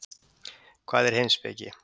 Hvað er heimspeki?